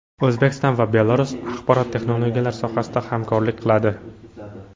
O‘zbekiston va Belarus axborot texnologiyalari sohasida hamkorlik qiladi.